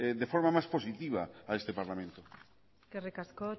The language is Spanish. de forma más positiva a este parlamento eskerrik asko